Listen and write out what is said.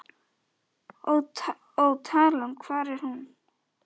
Og talan, hvar er hún?